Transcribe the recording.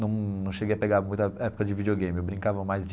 Não não cheguei a pegar muita a a época de videogame, eu brincava mais de...